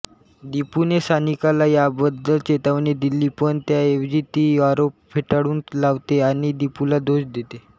दीपूने सानिकाला याबद्दल चेतावणी दिली पण त्याऐवजी ती आरोप फेटाळून लावते आणि दीपूला दोष देते